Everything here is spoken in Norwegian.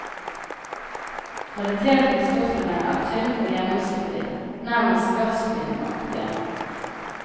Kvaliteten i stoffene er tynn og gjennomsiktig, nærmest gassbindaktige.